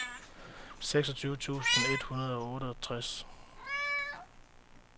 seksogtyve tusind et hundrede og otteogtres